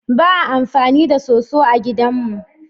Ba a amfani da soso a gidan mu.